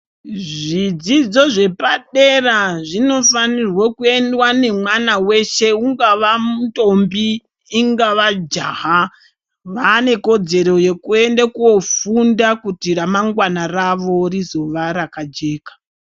Zvidzidzo zvepadera zvinofanirwe kundwa nemwana weshe ungava muntombi ungava jaha vanekodzero yekuenda kofunda kuti ranwnagwana ravo rizova rakajeka .